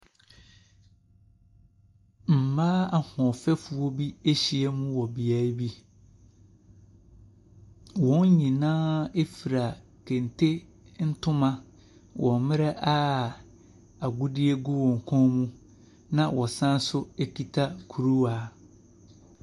Mmaa ahoɔfɛfoɔ bi ahyia wɔ beaeɛ bi, wɔn nyinaa ɛfura kenkte ntoma wɔ mmerɛ a egudeɛ gu wyn kɔn mu, na wɔsan nso ɛkita kuruwa.